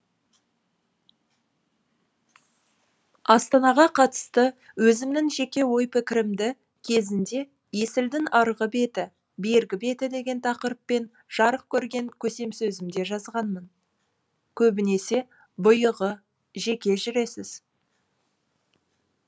астанаға қатысты өзімнің жеке ой пікірімді кезінде есілдің арғы беті бергі беті деген тақырыппен жарық көрген көсемсөзімде жазғанмын көбінесе бұйығы жеке жүресіз